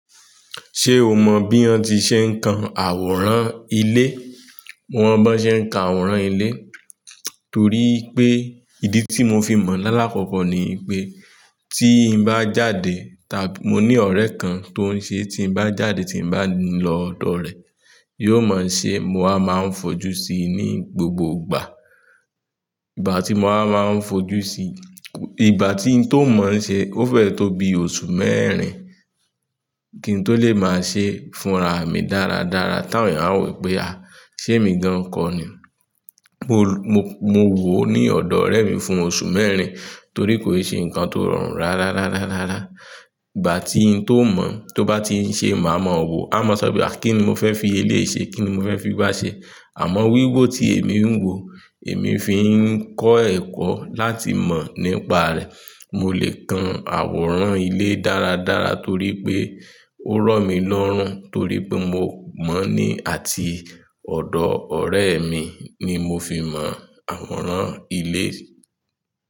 Ṣé o mọ bí wọ́n ti ṣe ń kan àwòrán ilé? Hm. Mo mọ bí wọ́n ṣe ń kan àwòrán ilé, torí pé ìdí tí mo fi mọ̀ lákòókò ni pé tí bá jáde ta-- mo ní ọ̀rẹ́ kan tó ń ṣe, tí bá jáde tí bá ń lọ ọ̀dọ̀ rẹ̀, yóò máa ń ṣe, mo a máa ń fojú sí i ní gbogbo ìgbà. Ìgbà tí mo máa ń fojú sí i, ìgbà tí ń tó mọ̀ ọ́n ṣe ó fẹ́ tó bi oṣù mẹ́rin kí n tó lè máa ṣe fúnra mi dára dára táwọn èèyàn á wù pé a, ṣé èmi gan kọ́ ni. Mo mo mo, mo, mo wò ó ní ọ̀dọ̀ ọ̀rẹ́ mi fún oṣù mẹ́rin torí kò ṣe nǹkan tó rọrùn rárárárárárá. Ìgbà tí ń tó mọ̀, tó bá ti ń ṣe, màá mọ̀ wò. A a máa sọ bíi à kí ni mo fẹ́ fi eléyi ṣe, kí ni mo fẹ́ fi igbá ṣe. Àmọ́ wíwò tí èmi ń wò èmi fi ń kọ́ ẹ̀kọ́ láti mọ̀ nípa rẹ̀. Mo lè kan àwòrán ilé dára dára torí pé ó rọ̀ mí lọ́rùn, torí pé mo mọ̀ ni àti ọ̀dọ̀ ọ̀rẹ́ mi ni mo fi mọ̀ àwòrán ilé.